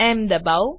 એમ દબાવો